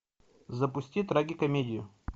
запусти трагикомедию